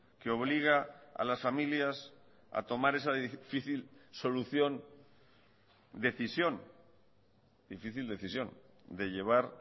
que obliga a las familias a tomar esa difícil solución decisión difícil decisión de llevar